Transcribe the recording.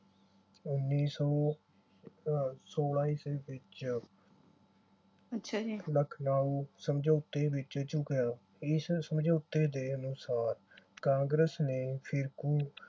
ਉੱਨੀ ਸੌ ਅਹ ਸੌਲ੍ਹਾਂ ਈਸਵੀ ਵਿਚ ਲਖਨਊ ਸਮਝੌਤੇ ਵਿਚ ਝੁਕਿਆ। ਇਸ ਸਮਝੌਤੇ ਦੇ ਅਨੁਸਾਰ ਕਾਂਗਰਸ ਨੇ ਫਿਰ ਫਿਰਕੂ